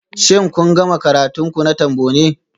Shin kun gama karatun ku na Trombone?